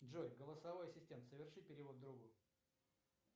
джой голосовой ассистент соверши перевод другу